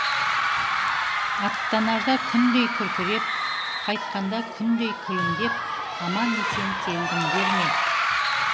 аттанарда күндей күркіреп қайтқанда күндей күлімдеп аман есен келдіңдер ме